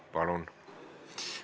Palun!